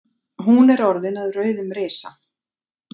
Hún er orðin að rauðum risa.